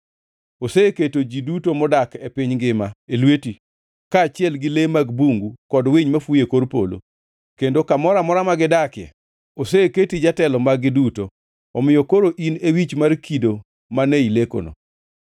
oseketo ji duto modak e piny ngima e lweti, kaachiel gi le mag bungu kod winy mafuyo e kor polo. Kendo kamoro amora ma gidakie, oseketi jatelo mag-gi duto. Omiyo koro in e wich mar kido mane ilekono.